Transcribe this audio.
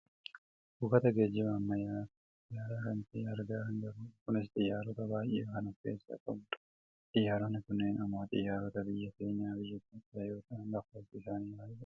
buufata geejjiba ammayyaa kan xiyyaaraa kan ta'e argaa kan jirrudha. kunis xiyyaarota baayyee kan of keessaa qabudha. xiyyaaronni kunneen ammoo xiyyaarota biyya keenyaa biyya Itoopiyaa yoo ta'an lakkoofsi isaanii baayyeedha.